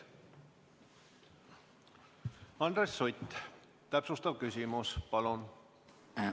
Andres Sutt, täpsustav küsimus, palun!